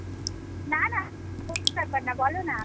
না না কোন ব্যাপার না বলনা।